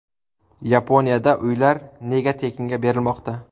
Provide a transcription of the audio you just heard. Yaponiyada uylar nega tekinga berilmoqda?